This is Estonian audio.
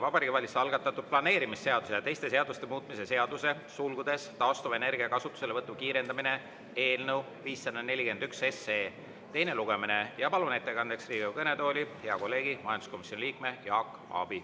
Vabariigi Valitsuse algatatud planeerimisseaduse ja teiste seaduste muutmise seaduse eelnõu 541 teine lugemine ja palun ettekandeks Riigikogu kõnetooli hea kolleegi, majanduskomisjoni liikme Jaak Aabi.